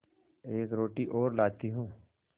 एक रोटी और लाती हूँ